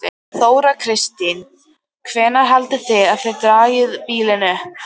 Þóra Kristín: Hvenær haldið þið að þið dragið bílinn upp?